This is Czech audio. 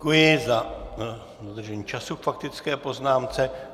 Děkuji za dodržení času k faktické poznámce.